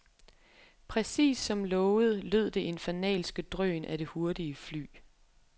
Præcis som lovet lød det infernalske drøn af det hurtige fly.